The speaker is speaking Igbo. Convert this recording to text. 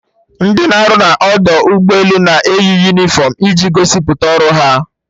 Ndị na-arụ na ọdọ ụgbọ elu na-eyi unifọmụ dị iche iche iji gosipụta ọrụ ha